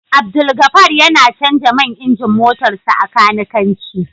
Abdulgafar yana Canja man injin motarsa ​​a kanikanci